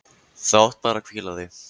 Þú átt bara að hvíla þig!